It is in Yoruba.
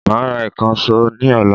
Máa ra ìkànsó ní ọ̀la